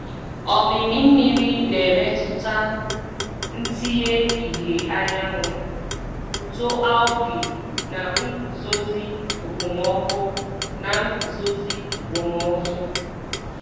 Omimi mmiri na-emetụta ntinye ìhè anyanwụ, uto algae, na nguzozi okpomọkụ. na nguzozi okpomọkụ.